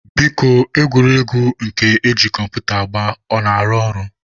Biko egwuregwu nke eji kọmputa agba ọ na-arụ ọrụ?